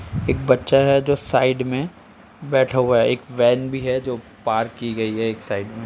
एक बच्चा है जो साइड में बैठा हुआ है। एक वैन भी है जो पार्क की गई एक साइड में --